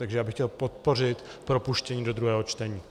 Takže já bych chtěl podpořit propuštění do druhého čtení.